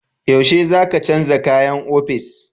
Yaushe za ka canja kayan ofis?